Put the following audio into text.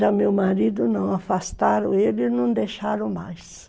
Já meu marido não, afastaram ele e não deixaram mais.